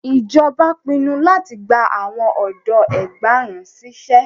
Ijọba pinnu lati gba awọn ọdọ ẹgbàárún ṣiṣẹ